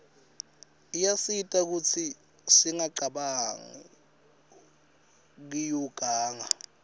iyasita kutsi singacabanq kiuganga